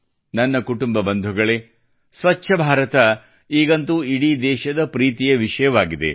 ನನ್ನ ಕುಟುಂಬ ಬಂಧುಗಳೇ ಸ್ವಚ್ಛ ಭಾರತ ಈಗಂತೂ ಇಡೀ ದೇಶದ ಪ್ರೀತಿಯ ವಿಷಯವಾಗಿದೆ